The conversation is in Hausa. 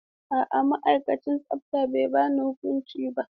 A'a, ma'aikacin tsafta bai ba ni huƙunci ba.